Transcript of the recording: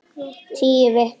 Tíu vikna